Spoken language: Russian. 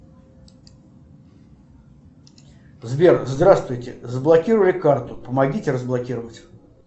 сбер здравствуйте заблокировали карту помогите разблокировать